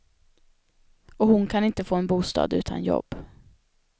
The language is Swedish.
Och hon kan inte få en bostad utan jobb.